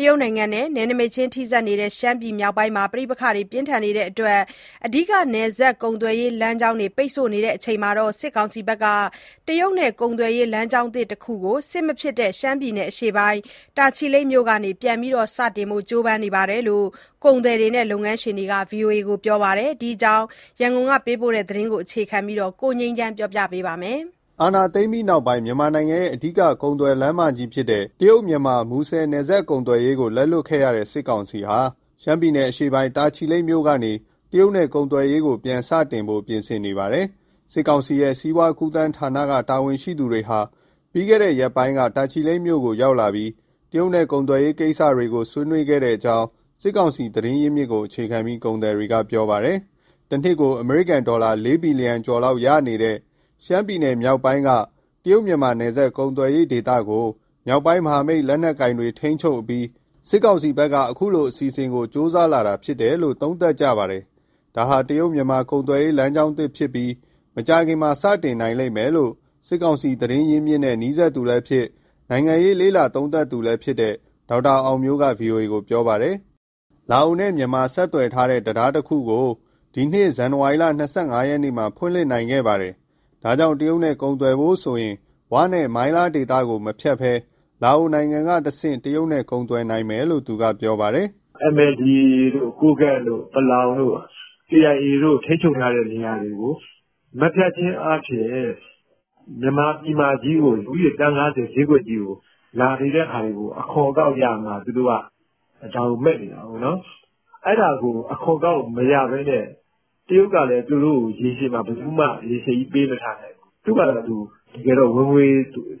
တရုတ်နိုင်ငံနဲ့ နယ်နိမိတ်ချင်း ထိစပ်နေတဲ့ ရှမ်းပြည်မြောက်ပိုင်းမှာ ပဋိပက္ခတွေပြင်းထန်နေတဲ့အတွက် အဓိက နယ်စပ်ကုန်သွယ်ရေးလမ်းတွေ ပိတ်ဆို့နေချိန်မှာ စစ်ကောင်စီဟာ တရုတ်နဲ့ ကုန်သွယ်ရေး လမ်ကြောင်းသစ်တခုကို စစ်မဖြစ်တဲ့ ရှမ်းပြည်နယ်အရှေ့ပိုင်း တာချီလိတ်မြို့ကနေ ပြန်စတင်နိုင်ဖို့ ကြိုးပမ်းနေကြောင်း ကုန်သည်တွေနဲ့ လုပ်ငန်းရှင်တွေက ပြောပါတယ်။ ဒီအကြောင်း ရန်ကုန်ကပေးပို့တဲ့သတင်းကို အခြေခံပြီး ကိုငြိမ်းချမ်းက တင်ပြပေးထားပါတယ်။ အာဏာသိမ်းပြီးနောက်ပိုင်း မြန်မာနိုင်ငံရဲ့အဓိက ကုန်သွယ်လမ်းမကြီးဖြစ်တဲ့ တရုတ်-မြန်မာ မူဆယ် နယ်စပ်ကုန်သွယ်ရေးကို လက်လွှတ်ခဲ့ရတဲ့ စစ်ကောင်စီဟာ ရှမ်းပြည်နယ်အရှေ့ပိုင်း တာချီလိတ်မြို့ကနေ တရုတ်နဲ့ ကုန်သွယ်ရေးကို ပြန်စတင်ဖို့ ပြင်ဆင်နေပြီ ဖြစ်ပါတယ်။ စစ်ကောင်စီရဲ့ စီးပွားကူးသန်းဌာန တာဝန်ရှိသူတွေဟာ ပြီးခဲ့တဲ့ရက်ပိုင်းက တာချီလိတ်မြို့ကို ရောက်လာပြီး တရုတ်နဲ့ ကုန်သွယ်ရေးကိစ္စကို ဆွေးနွေးခဲ့ကြောင်း စစ်ကောင်စီ သတင်းရင်းမြစ်ကိုအခြေခံပြီး ကုန်သည်တွေက ပြောပါတယ်။ တနှစ်ကို အမေရိကန်ဒေါ်လာ ၄ ဘီလီယံကျော်လောက် ရရှိနေတဲ့ ရှမ်းပြည်နယ်မြောက်ပိုင်းက တရုတ်-မြန်မာ နယ်စပ်ကုန်သွယ်ရေးဒေသကို မြောက်ပိုင်းမဟာမိတ် လက်နက်ကိုင်တွေ ထိန်းချုပ်အပြီး စစ်ကောင်စီဘက်က အခုလို အစီအစဉ်ကို ကြိုးစားလာတာဖြစ်တယ်လို့ သုံးသပ်ကြပါတယ်။ ဒါဟာ တရုတ်-မြန်မာ ကုန်သွယ်ရေး လမ်းကြောင်းသစ်ဖြစ်ပြီး မကြာခင် စတင်နိုင်လိမ့်မယ်လို့ စစ်ကောင်စီ သတင်းအရင်းအမြစ်နဲ့ နီးစပ်သူလည်းဖြစ်၊ နိုင်ငံရေး လေ့လာသုံးသပ်သူလည်းဖြစ်တဲ့ ဒေါက်တာအောင်မျိုးက ဗွီအိုအေကို ပြောပါတယ်။ လာအိုနဲ့ မြန်မာ ဆက်သွယ်ထားတဲ့ တံတားတခုကို ဒီနှစ် ဇန်နဝါရီလ ၂၅ရက်မှာ ဖွင့်လှစ်ခဲ့ပါတယ်။ ဒါကြောင့် တရုတ်နဲ့ကုန်သွယ်ဖို့ဆိုရင် 'ဝ'နဲ့ မိုင်းလား ဒေသကို မဖြတ်ဘဲ လာအိုနိုင်ငံ ကတဆင့် တရုတ်နဲ့ ကုန်သွယ်နိုင်မယ်လို့ သူကပြောပါတယ်။ "MNDAA တို့၊ ကိုးကန့်တို့၊ ပလောင်တို့၊ KIA တို့ ထိန်းချုပ်ထားတဲ့ နေရာတွေကို မဖြတ်ခြင်းအားဖြင့် မြန်မာပြည်မကြီးကို လူဦးရေ သန်း ၅၀ ဈေးကွက်ကြီးကို လာနေတဲ့ဟာကို အခွန်အကောက်ရမှာ၊ သူတို့က ဒါကိုမက်နေတာကိုး။ အဲဒါကို အခွန်အကောက် မရဘဲနဲ့ တရုတ်ကလည်း သူတို့ကိုရေရှည်မှာ ဘယ်သူမှ ပေးမထားနိုင်ဘူး။ သူ့ဖာသာသူ ဝင်ငွေ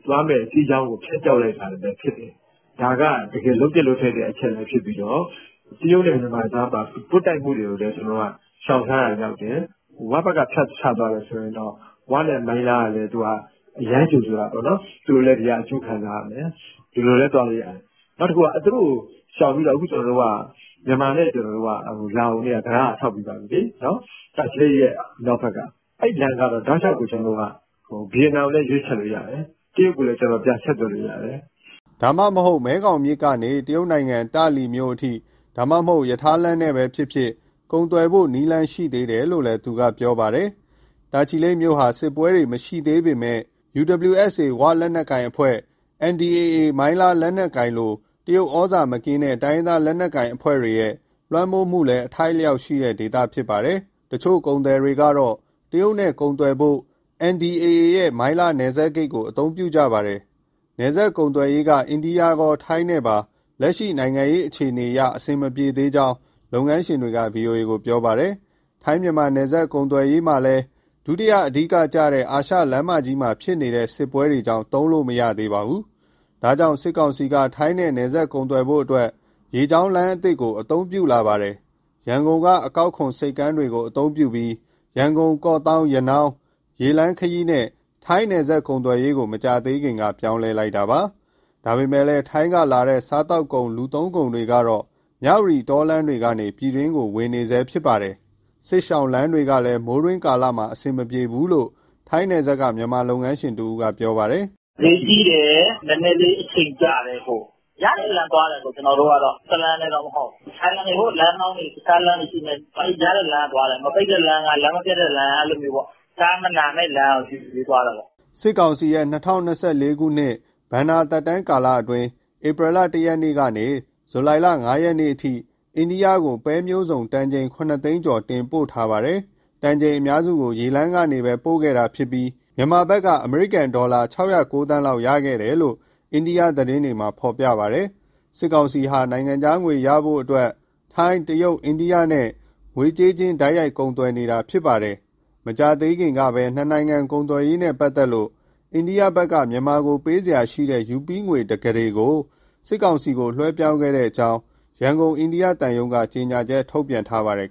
သွားမဲ့စီးကြောင်းကို ဖြတ်တောက်လိုက်တာပဲဖြစ်တယ်။ ဒါက တကယ်လုပ်သင့်လုပ်ထိုက်တဲ့ အချက်ဖြစ်ပြီးတော့ တရုတ်နဲ့ မြန်မာကြားမှာ ပွတ်တိုက်မှုတွေကိုလည်း ကျနော်တို့က ရှောင်ရှားရာရောက်တယ်။ 'ဝ' ဘက်က ဖြတ်ချသွားတယ်ဆိုရင်တော့ 'ဝ'နဲ့ မိုင်းလားကလည်း အရမ်းကြိုဆိုတာပေါ့နော်။ သူတို့လည်း ဒီက အကျိုးခံစားရမယ် ဒီလိုလည်း သွားလို့ရတယ်။ သူတို့ကို ရှောင်ပြီး ကျနော်တို့က မြန်မာနဲ့လာအိုက တံတားက ဆောက်ပြီးသွားပြီလေ။ တာချီလိတ်ရဲ့ မြောက်ဘက်က အဲလမ်းက တောက်လျှောက် ဗီယက်နမ်ကိုလည်း ရွေးချယ်လို့ရတယ်၊ တရုတ်ကလည်း ပြန်ဆက်သွယ်လို့ရတယ်။" ဒါမှမဟုတ် မဲခေါင်မြစ်ကနေ တရုတ်နိုင်ငံ တာ့လီမြို့အထိ၊ ဒါမှမဟုတ် ရထားလမ်းနဲ့ဖြစ်ဖြစ် ကုန်သွယ်ဖို့ နည်းလမ်းရှိသေးတယ်လို့ သူကပြောပါတယ်။ တာချီလိတ်မြို့ဟာ စစ်ပွဲတွေမရှိသေးပေမဲ့ UWSA 'ဝ' လက်နက်ကိုင်၊ NDAA မိုင်းလား လက်နက်ကိုင်လို တရုတ်ဩဇာမကင်းတဲ့ တိုင်းရင်းသား လက်နက်ကိုင်အဖွဲ့တွေရဲ့ လွှမ်းမိုးမှုလည်း အထိုက်အလျှောက်ရှိတဲ့ ဒေသဖြစ်ပါတယ်။ တချို့ ကုန်သည်တွေကတော့ တရုတ်နဲ့ကုန်သွယ်ဖို့ NDAA ရဲ့ မိုင်းလား နယ်စပ်ဂိတ်ကို အသုံးပြုကြပါတယ်။ နယ်စပ်ကုန်သွယ်ရေးက အိန္ဒိယရော၊ ထိုင်းနဲ့ပါ လက်ရှိနိုင်ငံရေး အခြေအနေအရ အဆင်မပြေသေးကြောင်း လုပ်ငန်းရှင်တွေက ဗွီအိုအေကို ပြောပါတယ်။ ထိုင်း-မြန်မာ ကုန်သွယ်ရေးမှာ ဒုတိယ အဓိကကျတဲ့ အာရှလမ်းမကြီးမှာဖြစ်နေတဲ့ စစ်ပွဲတွေကြောင့် သုံးလို့မရသေးပါဘူး။ ဒါကြောင့် စစ်ကောင်စီကတော့ ထိုင်းနဲ့ နယ်စပ်ကုန်သွယ်ဖို့အတွက် ရေလမ်းသစ်ကို ပြောင်းလဲ အသုံးပြုလာပါတယ်။ ရန်ကုန်က အကောက်ခွန်ဆိပ်ကမ်းတွေကို အသုံးပြုပြီး ရန်ကုန်-ကော့သောင်း-ရနောင်း ဒီရေလမ်းခရီးနဲ့ ထိုင်းနယ်စပ်ကုန်သွယ်ရေးကို မကြာသေးခင်က ပြောင်းလဲလိုက်တာပါ။ ဒါပေမဲ့ ထိုင်းကလာတဲ့ စားသောက်ကုန်၊ လူသုံးကုန်တွေကတော့ မြဝတီ တောလမ်းတွေကနေ ပြည်တွင်းကို ဝင်နေတုန်းဖြစ်ပါတယ်။ စစ်ရှောင်လမ်းတွေကလည်း မိုးတွင်းကာလမှာ အဆင်မပြေဘူးလို့ ထိုင်းနယ်စပ်က မြန်မာလုပ်ငန်းရှင်တဦးက ပြောပါတယ်။ "ဈေးကြီးတယ်၊ နည်းနည်းလေး အချိန်ကြာတယ်။ ရတဲ့လမ်းကသွားတယ် ကျနော်တို့ကတော့၊ တလမ်းတည်းတော့ မဟုတ်ဘူး။ လမ်းဟောင်းတွေ၊ တခြားလမ်းတွေရှိမယ်၊ ရတဲ့လမ်းကသွားတယ်။ မပိတ်တဲ့လမ်းက၊ လမ်းမပျက်တဲ့လမ်းက၊ ကားမနာမဲ့လမ်းကို ရွေးပြီးသွားတယ်ပေါ့။" စစ်ကောင်စီရဲ့ ၂၀၂၄ခုနှစ် ဘဏ္ဍာ သက်တမ်းကာလအတွင်း ဧပြီလ ၁ရက်နေ့ကနေ ဇူလိုင်၅ရက်အထိ အိန္ဒိယကို ပဲမျိုးစုံတန်ချိန် ၇ သိန်းကျော် တင်ပို့ထားပါတယ်။ တန်ချိန်အများစုကို ရေလမ်းကနေပဲပို့ခဲ့တာဖြစ်ပြီး မြန်မာဘက်က အမေရိကန်ဒေါ်လာ ၆၀၉ သန်းလောက် ရရှိခဲ့တယ်လို့ အိန္ဒိယသတင်းတွေမှာ ဖော်ပြပါတယ်။ စစ်ကောင်စီဟာ နိုင်ငံခြားငွေရဖို့အတွက် ထိုင်း၊ တရုတ်၊ အိန္ဒိယနဲ့ ငွေကြေးချင်း တိုက်ရိုက်ကုန်သွယ်နေတာဖြစ်ပါတယ်။ မကြာသေးခင်ကပဲ နှစ်နိုင်ငံ ကုန်သွယ်ရေးနဲ့ ပတ်သက်လို့ အိန္ဒိယဘက်က မြန်မာကို ပေးစရာရှိတဲ့ ရူးပီးငွေ တကုဋေ စစ်ကောင်စီကို လွှဲပြောင်းခဲ့ကြောင်း ရန်ကုန် အိန္ဒိယသံရုံးက ကြေညာချက်ထုတ်ပြန်ထားပါတယ်